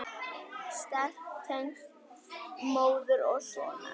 Sterk tengsl móður og sonar.